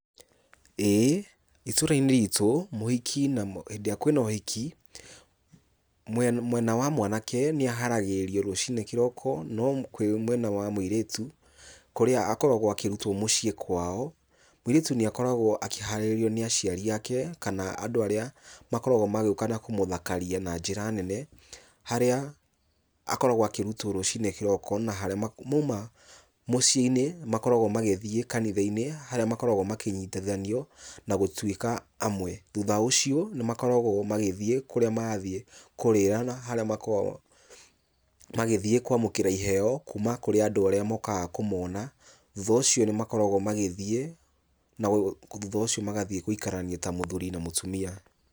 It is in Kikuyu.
Ĩĩ itũra-inĩ ritũ, mũhiki na, hĩndĩ ĩrĩa kwĩna ũhiki, mwena wa mwanake nĩ aharagĩrĩrio rũciinĩ kĩroko, no kwĩ mwena wa mũirĩtu, kũrĩa akoragwo akĩrutwo mũciĩ kwao, mũirĩtu nĩ akoragwo akĩharĩrĩrio nĩ aciari ake, kana andũ arĩa makoragwo magĩũka na kũmũthakaria na njĩra nene, harĩa akoragwo akĩrutwo rũciinĩ kĩroko na harĩa mauma mũciĩ-inĩ makoragwo magĩthiĩ kanitha-inĩ, harĩa makoragwo makĩnyitithanio na gũtuĩka amwe. Thutha ũcio nĩ makoragwo magĩthiĩ kũrĩa mathiĩ kũrĩra na harĩa makoragwo magĩthiĩ kwamũkĩra iheo kuuma kũrĩ andũ arĩa mokaga kũmona. Thutha ũcio nĩ makoragwo magĩthiĩ, na thutha ũcio magathiĩ gũikarania ta mũthuri na mũtumia.